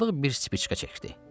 Sadıq bir spişka çəkdi.